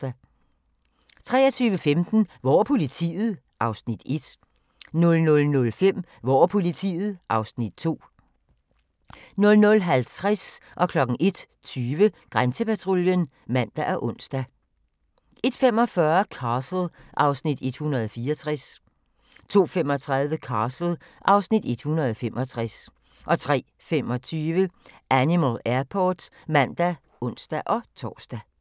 23:15: Hvor er politiet? (Afs. 1) 00:05: Hvor er politiet? (Afs. 2) 00:50: Grænsepatruljen (man og ons) 01:20: Grænsepatruljen (man og ons) 01:45: Castle (Afs. 164) 02:35: Castle (Afs. 165) 03:25: Animal Airport (man og ons-tor)